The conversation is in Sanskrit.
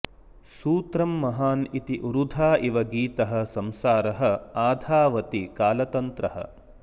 सूत्रं महान् इति उरुधा इव गीतः संसारः आधावति कालतन्त्रः